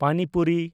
ᱯᱟᱱᱤ ᱯᱩᱨᱤ